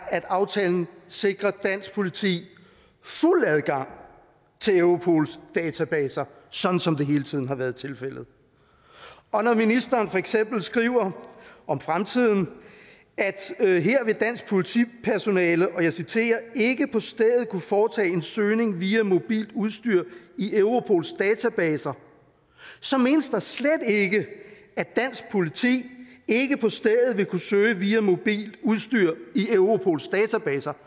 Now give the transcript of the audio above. at aftalen sikrer dansk politi fuld adgang til europols databaser sådan som det hele tiden har været tilfældet og når ministeren for eksempel skriver om fremtiden at her vil dansk politipersonale og jeg citerer ikke på stedet kunne foretage en søgning via mobilt udstyr i europols databaser så menes der slet ikke at dansk politi ikke på stedet vil kunne søge via mobilt udstyr i europols databaser